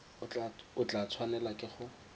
o tla tshwanela ke go